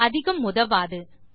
இது அதிகம் உதவாது